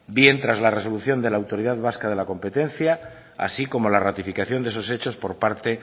bien tras la resolución de la autoridad vasca de la competencia así como la ratificación de esos hechos por parte